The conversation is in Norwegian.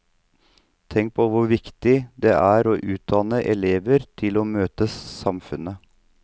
Tenk på hvor viktig det er å utdanne elever til å møte samfunnet.